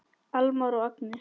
Almar og Agnes.